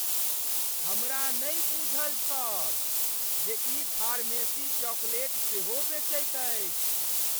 हमरा नहि बूझल छल जे ई फार्मेसी चॉकलेट सेहो बेचैत अछि!